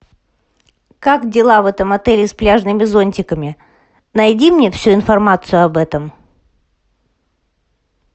как дела в этом отеле с пляжными зонтиками найди мне всю информацию об этом